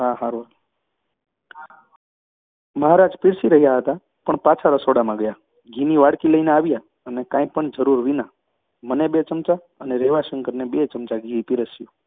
મહારાજ પીરસી રહ્યા હતા પણ પાછા રસોડામાં ગયા, ઘીની વાડકી લઈ આવ્યા અને કાંઈ પણ જરૃર વિના મને બે ચમચા અને રેવાશંકરને બે ચમચા ઘી પીરસ્યું.